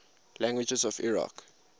languages of iraq